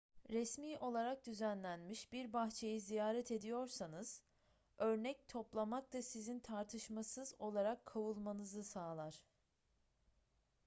resmi olarak düzenlenmiş bir bahçeyi ziyaret ediyorsanız örnek toplamak da sizin tartışmasız olarak kovulmanızı sağlar